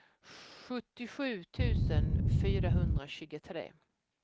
sjuttiosju tusen fyrahundratjugotre